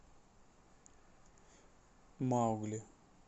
маугли